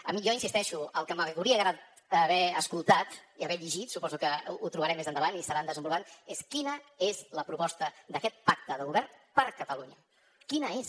a mi hi insisteixo el que m’hauria agradat haver escoltat i haver llegit suposo que ho trobarem més endavant i ho seguiran desenvolupant és quina és la proposta d’aquest pacte de govern per a catalunya quina és